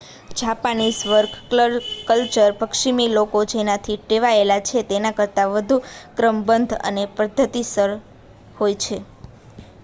Japanese work culture પશ્ચિમી લોકો જેનાથી ટેવાયેલા છે તેના કરતા વધુ ક્રમબદ્ધ અને પદ્ધતિસર હોય છે